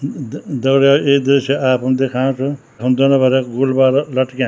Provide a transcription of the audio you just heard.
द दगड़ियों ये दृश्य आपम दिखाना छो यखम दुनिया भर क गुल्बार लटक्याँ।